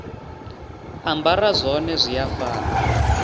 ambara zwone zwi a fana